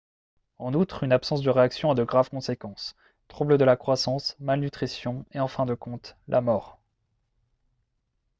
en outre une absence de réaction a de graves conséquences troubles de la croissance malnutrition et en fin de compte la mort